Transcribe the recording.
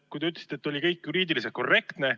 Te ütlesite, et kõik oli juriidiliselt korrektne.